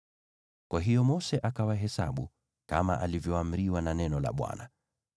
Kwa hiyo Mose akawahesabu, kama alivyoamriwa na neno la Bwana .